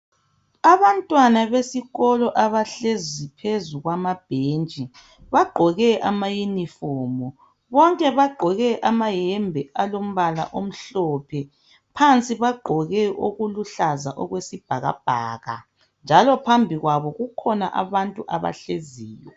Abantwana besikolo abahlezi phezu kwamabhentshi bagqoke amayunifomu. Bonke bagqoke amahembe alombala omhlophe phansi bagqoke okuluhlaza okwesibhakabhaka njalo phambi kwabo kukhona abantu abahleziyo.